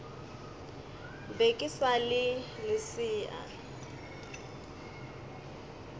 be ke sa le lesea